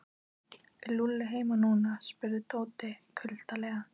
Er Lúlli heima núna? spurði Tóti kuldalega.